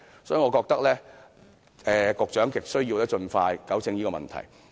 所以，我覺得局長亟需要盡快糾正這問題。